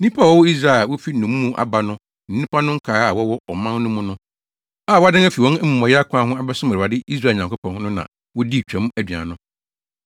Nnipa a wɔwɔ Israel a wofi nnommum mu aba no ne nnipa no nkae a wɔwɔ ɔman no mu no a wɔadan afi wɔn amumɔyɛ akwan ho abɛsom Awurade, Israel Nyankopɔn, no na wodii twam aduan no.